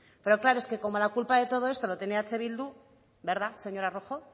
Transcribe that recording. pero claro es que como la culpa de todo esto la tiene eh bildu verdad señora rojo